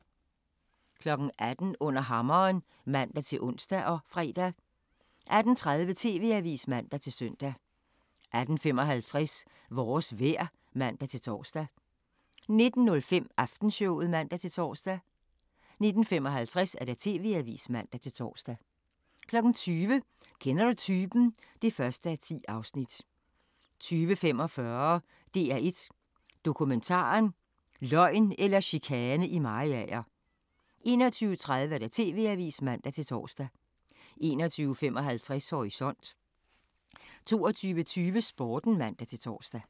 18:00: Under Hammeren (man-ons og fre) 18:30: TV-avisen (man-søn) 18:55: Vores vejr (man-tor) 19:05: Aftenshowet (man-tor) 19:55: TV-avisen (man-tor) 20:00: Kender du typen? (1:10) 20:45: DR1 Dokumentaren: Løgn eller chikane i Mariager 21:30: TV-avisen (man-tor) 21:55: Horisont 22:20: Sporten (man-tor)